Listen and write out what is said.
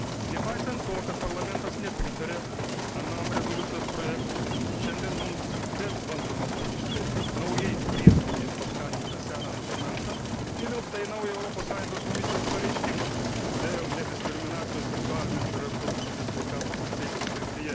Nepaisant to, kad Parlamentas nepritarė anam rezoliucijos projektui, šiandien mums vėl bandoma pakišti naujais prieskoniais paskanintą seną dokumentą, įvilktą į naują Europos Sąjungos Komisijos pareiškimą Dėl nediskriminacijos seksualinės ir reprodukcinės sveikatos ir teisių srityje.